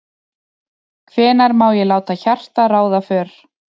Hvenær má ég láta hjartað ráða för?